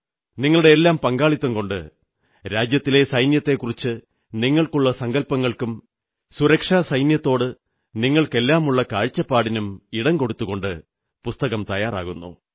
നിങ്ങളുടെയെല്ലാം പങ്കാളിത്തം കൊണ്ട് രാജ്യത്തിന്റെ സൈന്യത്തെക്കുറിച്ചു നിങ്ങൾക്കുള്ള സങ്കല്പങ്ങൾക്കും സുരക്ഷാസൈന്യത്തോട് നിങ്ങൾക്കെല്ലാമുള്ള കാഴ്ചപ്പാടിനും ഇടം കൊടുത്തുകൊണ്ട് പുസ്തകം തയ്യാറാകുന്നു